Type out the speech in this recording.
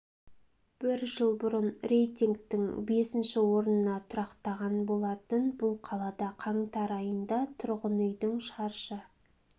бір жыл бұрын рейтингтің бесінші орнына тұрақтаған болатын бұл қалада қаңтар айында тұрғын үйдің шаршы